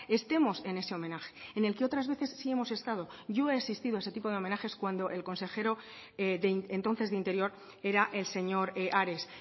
estemos en ese homenaje en el que otras veces sí hemos estado yo he asistido a ese tipo de homenajes cuando el consejero entonces de interior era el señor ares